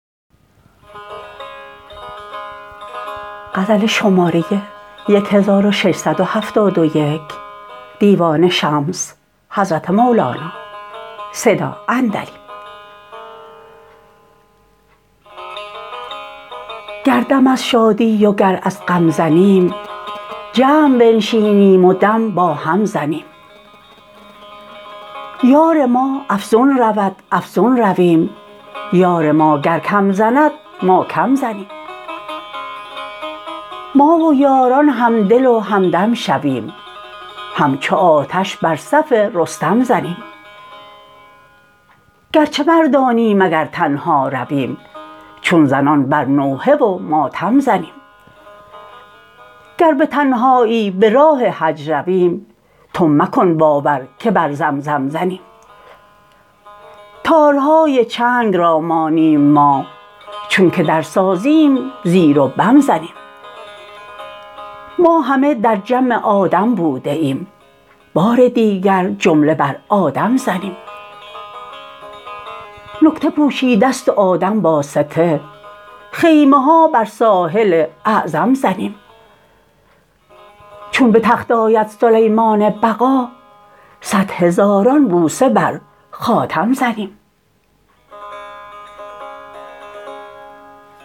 گر دم از شادی وگر از غم زنیم جمع بنشینیم و دم با هم زنیم یار ما افزون رود افزون رویم یار ما گر کم زند ما کم زنیم ما و یاران همدل و همدم شویم همچو آتش بر صف رستم زنیم گرچه مردانیم اگر تنها رویم چون زنان بر نوحه و ماتم زنیم گر به تنهایی به راه حج رویم تو مکن باور که بر زمزم زنیم تارهای چنگ را مانیم ما چونک درسازیم زیر و بم زنیم ما همه در جمع آدم بوده ایم بار دیگر جمله بر آدم زنیم نکته پوشیده ست و آدم واسطه خیمه ها بر ساحل اعظم زنیم چون به تخت آید سلیمان بقا صد هزاران بوسه بر خاتم زنیم